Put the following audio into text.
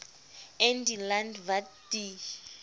in die land wat die